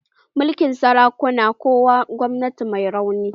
Mulkin sarakuna na kawo gwamnati mai rauni.